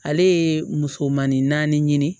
Ale ye musomanin ɲini